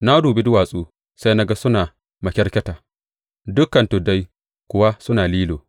Na dubi duwatsu, sai na ga suna makyarkyata; dukan tuddai kuwa suna lilo.